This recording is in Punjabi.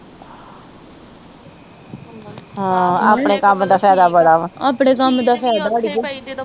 ਆਪਣੇ ਕਮ ਦਾ ਫੇਦਾ ਬੜਾ ਵਾ